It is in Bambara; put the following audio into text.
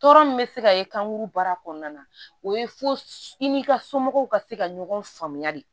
Tɔɔrɔ min bɛ se ka ye kan kuru baara kɔnɔna na o ye fo i n'i ka somɔgɔw ka se ka ɲɔgɔn faamuya de